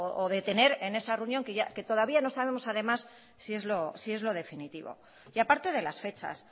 o de tener en esa reunión que todavía no sabemos además si es lo definitivo y aparte de las fechas